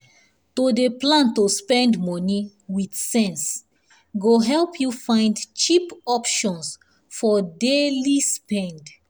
to dey plan to spend money with sense go help you find cheap options for daily spend.